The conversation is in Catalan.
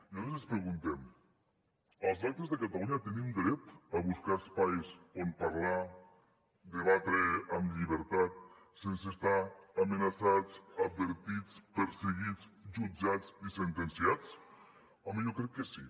nosaltres ens preguntem els electes de catalunya tenim dret a buscar espais on parlar debatre amb llibertat sense estar amenaçats advertits perseguits jutjats i sentenciats home jo crec que sí